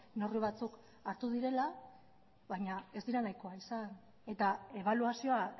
neurri batzuk hartu direla baina ez direla nahikoa izan eta ebaluazioa